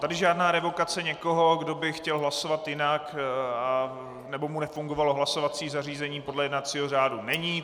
Tady žádná revokace někoho, kdo by chtěl hlasovat jinak nebo mu nefungovalo hlasovací zařízení, podle jednacího řádu není.